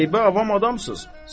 Qəribə avam adamsız.